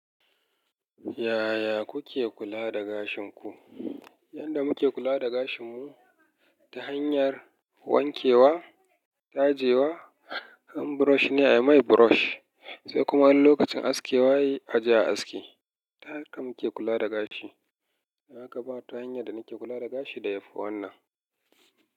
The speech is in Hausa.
Yaya kuke kula da gashin ku? Yanda muke kula da gashin mu ta hanyar wankewa, tajewa, han brush ina, mai brush sai kuma an lokacin askewa yi aje a aske. Ta haka muke kula da gashi. Ha kaɓa wata hanyar da nake kula da gashi da yafi wannan.